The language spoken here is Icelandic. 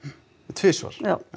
tvisvar já